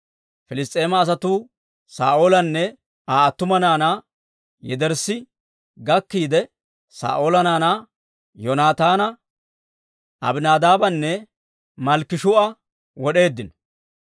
Piliss's'eema asatuu Saa'oolanne Aa attumawaa naanaa yederssi gakkiide, Saa'oola naanaa Yoonataana, Abinaadaabanne Malkkishuu'a wod'eeddino.